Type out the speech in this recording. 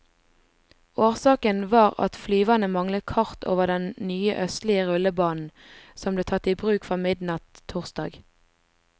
Årsaken var at flyverne manglet kart over den nye østlige rullebanen, som ble tatt i bruk fra midnatt torsdag.